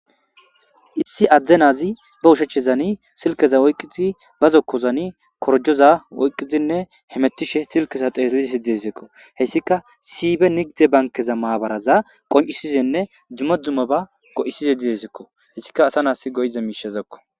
issi adzde nazi ba ushechezani silkeza oyqqizi bazokkozani korjoza oyqqizinne hemettishe silkeza teeslisi desekko hessika sibe nigize bankeza maabaraza qoncisizenne dzumma dzumo ba go7isize didesekko hessika asa naas go7ize miishezekko